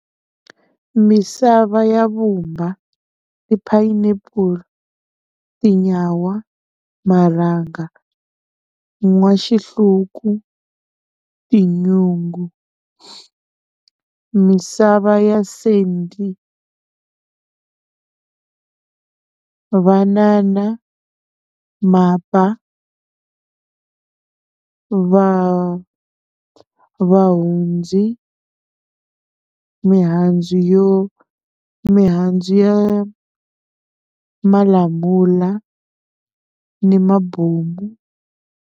Misava ya vumba ti-pineapple, tinyawa, marhanga, n'waxihluku, tinyungu, misava ya sendi, vanana, mapa, va vahundzi, mihandzu yo mihandzu ya malamula ni mabomu.